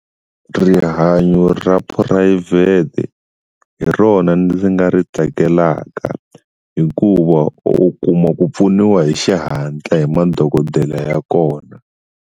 Rihanyo ra phurayivhete hi rona ndzi nga ri tsakelaka hikuva u kuma ku pfuniwa hi xihatla hi madokodela ya kona.